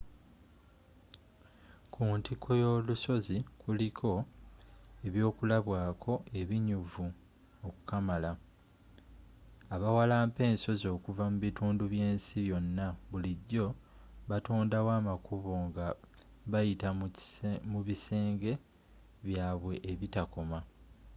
ku ntikko y'olusozi kuliko ebyokulabwaako ebinyuvu okukamala abawalampa ensozi okuva mu bitundu by'ensi yonna bulijjo batondawo amakubo nga bayita mu bisenge byabwe ebitakoma